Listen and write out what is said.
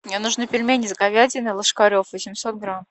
мне нужны пельмени с говядиной ложкарев восемьсот грамм